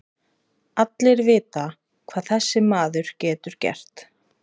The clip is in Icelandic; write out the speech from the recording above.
Allir vita hvað þessi maður getur gert.